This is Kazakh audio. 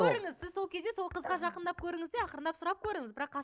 көріңіз сіз ол кезде сол қызға жақындап көріңіз де ақырындап сұрап көріңіз бірақ